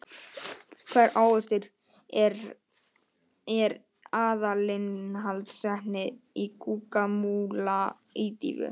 Hvaða ávöxtur er aðalinnihaldsefni í Guacamole ídýfu?